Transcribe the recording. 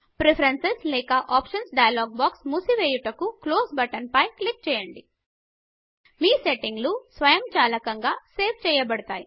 preferences లేక options dialog box మూసి వెయ్యుటకు క్లోజ్ బటన్ పై క్లిక్ చేయండి మీ సెట్టింగులు స్వయంచాలకంగా సేవ్ చేయబడతాయి